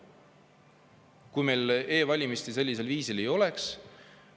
Kui meil e-valimisi sellisel viisil ei oleks …